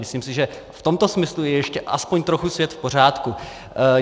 Myslím si, že v tomto smyslu je ještě aspoň trochu svět v pořádku.